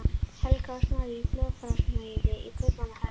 Helga, og Snorri í hljóðfærasmíði í Kaupmannahöfn.